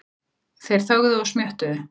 Þeir þögðu og smjöttuðu.